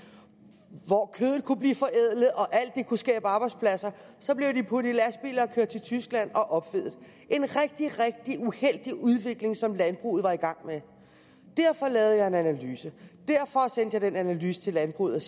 hvor kødet kunne blive forædlet og alt det kunne skabe arbejdspladser så blev puttet i lastbiler og kørt til tyskland og opfedet det en rigtig rigtig uheldig udvikling som landbruget var i gang med derfor lavede jeg en analyse derfor sendte jeg den analyse til landbruget